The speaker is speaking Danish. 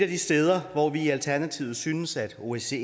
de steder hvor vi i alternativet synes at osce